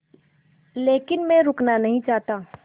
लेकिन मैं रुकना नहीं चाहता